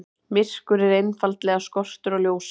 Myrkur er einfaldlega skortur á ljósi.